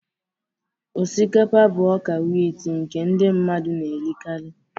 Osikapa bụ ọka wit nke ndị mmadụ na-erikarị.